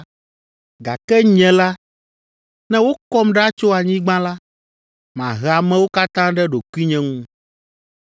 Gake nye la, ne wokɔm ɖa tso anyigba la, mahe amewo katã ɖe ɖokuinye ŋu.”